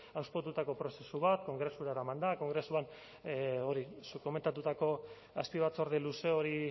hauspotutako prozesu bat kongresura eramanda kongresuan hori zuk komentatutako azpibatzorde luze hori